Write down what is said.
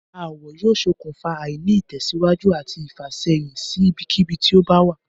Aáwò̩ yóò s̩okùnfà àìní-ìtè̩síwájú àti ìfàsé̩yìn sí ibikíbi tí ó bá wà